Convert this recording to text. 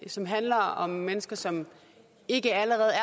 som handler om mennesker som ikke allerede